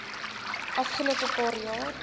afgelope paar jaar